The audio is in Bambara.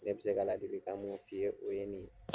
Ne be se ka ladilikan mun f'i ye, o ye nin ye.